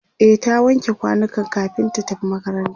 e ta wanke kwanukan kamin ta tafi makaranta